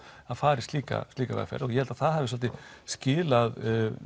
fara í slíka slíka vegferð og ég held að það hafi svolítið skilað